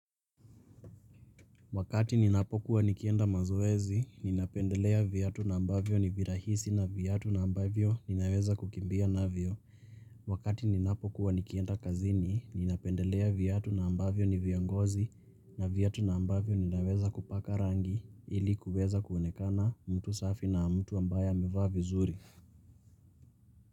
Wakati ninapokuwa nikienda mazoezi, ninapendelea viatu na ambavyo ni virahisi na viatu na ambavyo ninaweza kukimbia navyo. Wakati ninapokuwa nikienda kazini, ninapendelea viatu na ambavyo ni vya ngozi na viatu na ambavyo ninaweza kupaka rangi ilikuweza kuonekana mtu safi na mtu ambaye amevaa vizuri.